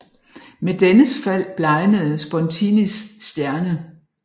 Med dennes fald blegnede Spontinis stjerne